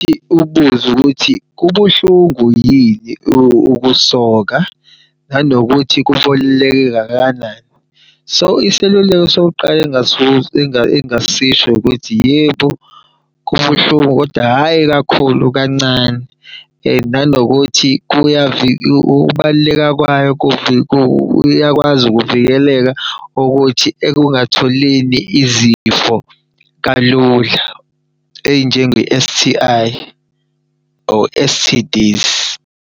Ubuze ukuthi kubuhlungu yini ukusoka, nanokuthi . So iseluleko sokuqala engingasisho ukuthi yebo kubuhlungu kodwa hhayi kakhulu kancane and nanokuthi ukubaluleka kwayo kuyakwazi ukuvikeleka ukuthi ekungatholeni izifo kalula ey'njenge-S_T_I or S_T_D.